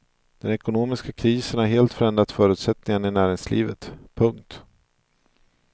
Den ekonomiska krisen har helt förändrat förutsättningarna i näringslivet. punkt